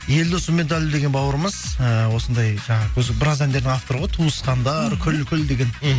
елдос сүмедәлі деген бауырымыз ііі осындай жаңағы өзі біраз әндердің авторы ғой туысқандар күл күл деген мхм